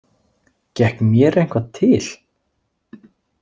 Gekk mér eitthvað til?